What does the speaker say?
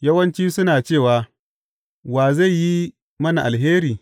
Yawanci suna cewa, Wa zai yi mana alheri?